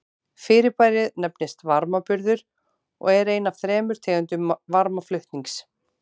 Fyrirbærið nefnist varmaburður og er ein af þremur tegundum varmaflutnings.